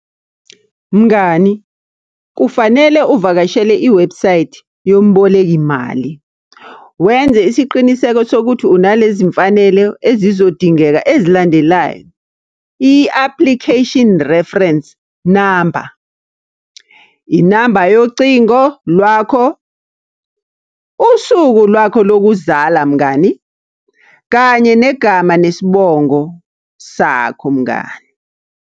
Mngani, kufanele uvakashele iwebhusayithi yomboleki mali. Wenze isiqiniseko sokuthi unalezi mfanelo ezizodingeka ezilandelayo, i-application reference number, inamba yocingo lwakho, usuku lwakho lokuzala mngani. Kanye negama nesibongo sakho mngani.